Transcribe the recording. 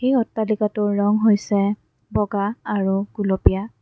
এই অট্টালিকাটোৰ ৰং হৈছে বগা আৰু গুলপীয়া।